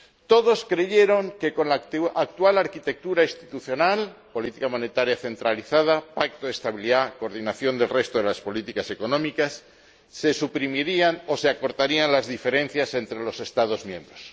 Todos creyeron que con la actual arquitectura institucional ―política monetaria centralizada, Pacto de Estabilidad, coordinación del resto de las políticas económicas― se suprimirían o se acortarían las diferencias entre los Estados miembros.